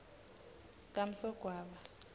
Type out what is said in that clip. kamsogwaba